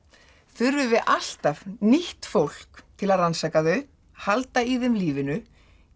þurfum við alltaf nýtt fólk til að rannsaka þau halda í þeim lífinu